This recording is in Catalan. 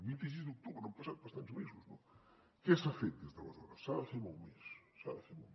vint sis d’octubre han passat bastants mesos no què s’ha fet des d’aleshores s’ha de fer molt més s’ha de fer molt més